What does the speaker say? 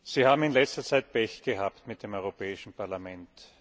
Sie haben in letzter Zeit Pech gehabt mit dem Europäischen Parlament.